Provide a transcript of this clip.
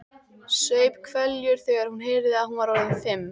Saup hveljur þegar hún heyrði að hún var orðin fimm.